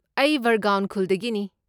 ꯑꯩ ꯕꯔꯒꯥꯎꯟ ꯈꯨꯜꯗꯒꯤꯅꯤ꯫